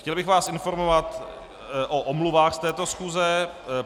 Chtěl bych vás informovat o omluvách z této schůze.